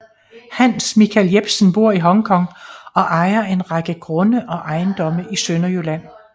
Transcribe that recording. Hans Michael Jebsen bor i Hong Kong og ejer en række grunde og ejendomme i Sønderjylland